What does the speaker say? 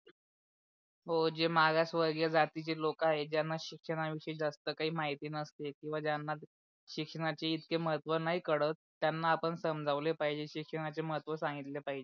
हो जे मागासवर्गीय जातीचे लोक आहे ज्याना शिक्षणा विषयी जास्त काही महिती नसते किवा ज्याना शिक्षणाचे इतके महत्व नाही कळत त्यांना आपण समजावले पाहिजे शिक्षणाचे महत्व सांगितले पाहिजे.